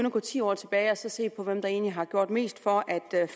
at gå ti år tilbage og se på hvem der egentlig har gjort mest for at